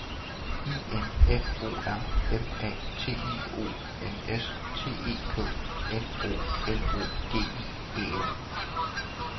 I N F O R M A T I O N S T E K N O L O G I E N